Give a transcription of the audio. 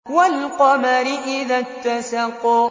وَالْقَمَرِ إِذَا اتَّسَقَ